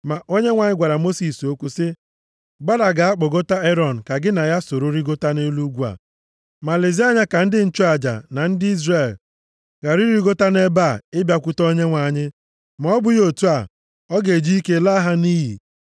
Ma Onyenwe anyị gwara Mosis okwu sị: “Gbada gaa kpọgota Erọn ka gị na ya soro rigota nʼelu ugwu a. Ma lezie anya ka ndị nchụaja na ndị Izrel ghara irigota nʼebe a ịbịakwute Onyenwe anyị, ma ọ bụghị otu a, ọ ga-eji ike laa ha nʼiyi.”